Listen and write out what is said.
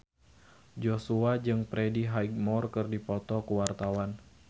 Joshua jeung Freddie Highmore keur dipoto ku wartawan